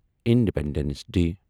independence D